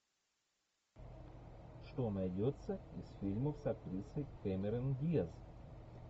что найдется из фильмов с актрисой кэмерон диаз